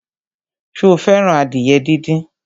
Sọ fẹ́ràn adìyẹ díndín?